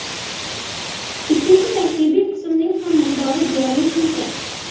Ikkinchi tarkibiy qismning ham miqdori deyarli shuncha.